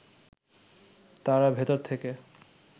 তারা ভেতর থেকে